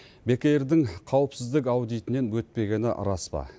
бек эйр дің қауіпсіздік аудитінен өтпегені рас па